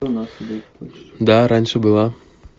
да раньше была